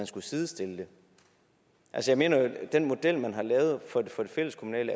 skulle sidestilles jeg mener jo at den model man har lavet for det fælleskommunale